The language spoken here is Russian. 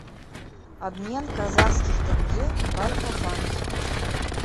обмен казахских тенге в альфа банке